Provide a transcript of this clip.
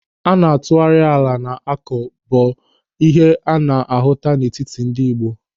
Ị na-atụgharị ala a na-akọ bụ ihe a na-ahụta n'etiti ndị Ị̀gbò.